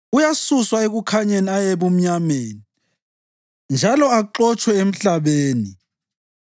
Uyasuswa ekukhanyeni aye ebumnyameni njalo axotshwe emhlabeni.